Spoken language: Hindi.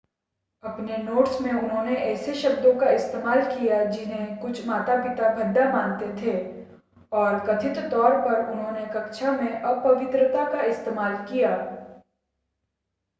अपने नोट्स में उन्होंने ऐसे शब्दों का इस्तेमाल किया जिन्हें कुछ माता-पिता भद्दा मानते थे और कथित तौर पर उन्होंने कक्षा में अपवित्रता का इस्तेमाल किया